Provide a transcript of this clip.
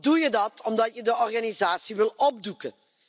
Dan doe je dat omdat je de organisatie wil opdoeken.